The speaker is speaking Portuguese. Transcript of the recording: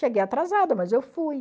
Cheguei atrasada, mas eu fui.